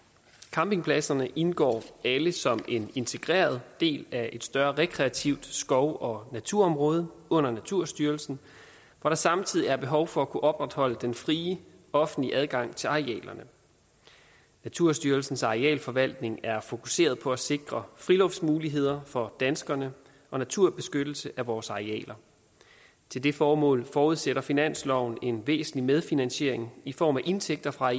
campingpladserne indgår alle som en integreret del af et større rekreativt skov og naturområde under naturstyrelsen hvor der samtidig er behov for at kunne opretholde den frie offentlige adgang til arealerne naturstyrelsens arealforvaltninger er fokuseret på at sikre friluftsmuligheder for danskerne og naturbeskyttelse af vores arealer til det formål forudsætter finansloven en væsentlig medfinansiering i form af indtægter fra